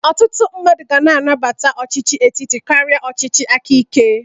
Ọtụtụ mmadụ ga-anabata ọchịchị etiti karị ọchịchị aka ike.